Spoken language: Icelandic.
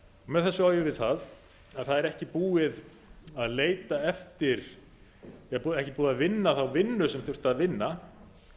þessu á ég við það að það er ekki búið að vinna þá vinnu sem þurfti að vinna